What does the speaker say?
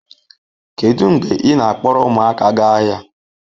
Kedu mgbe ị na-akpọrọ ụmụaka gaa ahịa